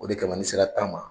O de kama n'i sera tan man